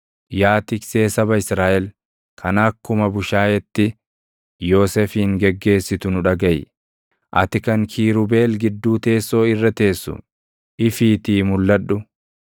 Yaa tiksee saba Israaʼel, kan akkuma bushaayeetti Yoosefin geggeessitu nu dhagaʼi; ati kan kiirubeel gidduu teessoo irra teessu, ifiitii mulʼadhu.